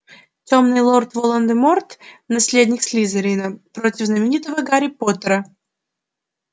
тёмный лорд волан-де-морт наследник слизерина против знаменитого гарри поттера